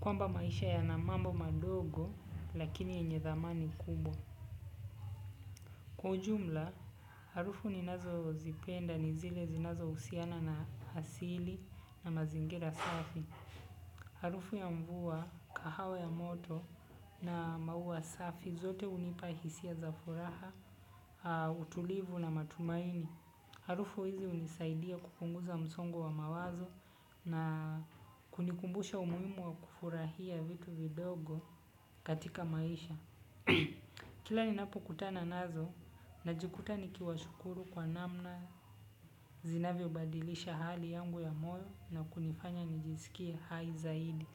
kwamba maisha yana mambo madogo lakini yenye dhamani kubwa. Kwa ujumla, harufu ninazo zipenda ni zile zinazohusiana na asili na mazingira safi. Harufu ya mvua, kahawa ya moto na maua safi zote hunipa hisia za furaha, utulivu na matumaini. Harufu hizi hunisaidia kupunguza msongo wa mawazo na kunikumbusha umuhimu wa kufutahia vitu vidogo katika maisha. Kila ninapo kutana nazo, najikuta nikiwa shukuru kwa namna zinavyo badilisha hali yangu ya moyo na kunifanya nijisikie hai zaidi.